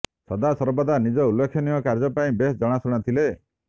ସଦାସର୍ବଦା ନିଜ ଉଲ୍ଲେଖନୀୟ କାର୍ଯ୍ୟ ପାଇଁ ବେଶ୍ ଜଣାଶୁଣା ଥିଲେ